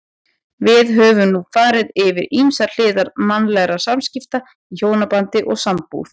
Við höfum nú farið yfir ýmsar hliðar mannlegra samskipta í hjónabandi og sambúð.